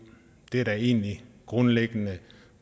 det er da egentlig grundlæggende